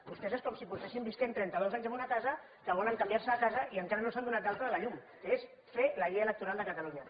vostès és com si fes trenta dos anys que viuen en una casa que volen canviar se de casa i encara no s’han donat d’alta de la llum que és fer la llei electoral de catalunya